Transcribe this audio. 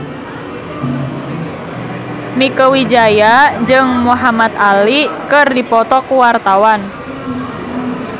Mieke Wijaya jeung Muhamad Ali keur dipoto ku wartawan